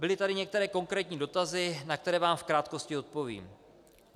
Byly tady některé konkrétní dotazy, na které vám v krátkosti odpovím.